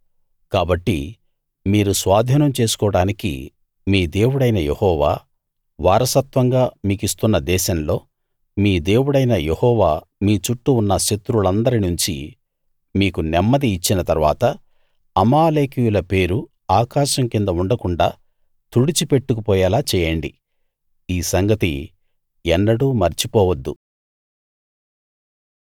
కాబట్టి మీరు స్వాధీనం చేసుకోడానికి మీ దేవుడైన యెహోవా వారసత్వంగా మీకిస్తున్న దేశంలో మీ దేవుడైన యెహోవా మీ చుట్టూ ఉన్న శత్రువులందరి నుంచీ మీకు నెమ్మది ఇచ్చిన తరువాత అమాలేకీయుల పేరు ఆకాశం కింద ఉండకుండాా తుడిచిపెట్టుకు పోయేలా చేయండి ఈ సంగతి ఎన్నడూ మర్చిపోవద్దు